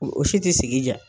O o si tɛ sigi jaa.